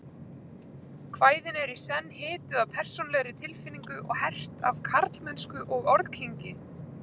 Kvæðin eru í senn hituð af persónulegri tilfinningu og hert af karlmennsku og orðkynngi.